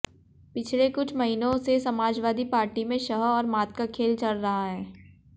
पिछले कुछ महीनों से समाजवादी पार्टी में शह और मात का खेल चल रहा है